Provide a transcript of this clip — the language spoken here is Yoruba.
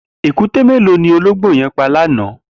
Ékùté méló ni ólóngbó yẹn pà lànã?